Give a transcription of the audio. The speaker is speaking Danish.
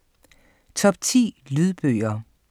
Top 10 Lydbøger